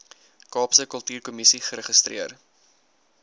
kaapse kultuurkommissie geregistreer